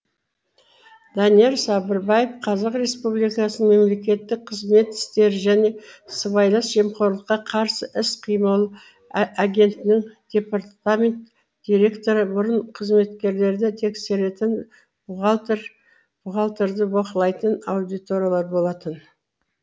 данияр сабырбаев қазақ республикасаның мемлекеттік қызмет істері және сыйбайлас жемқорлыққа қарсы іс қимыл агенттігінің департамент директоры бұрын қызметкерлерді тексеретін бухгалтер бухгалтерді бақылайтын аудиторлар болатын